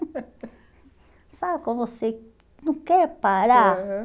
Sabe quando você não quer parar? Aham